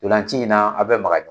Ntolanci in na a bɛ maka